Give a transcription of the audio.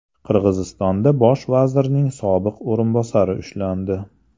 Qirg‘izistonda bosh vazirning sobiq o‘rinbosari ushlandi.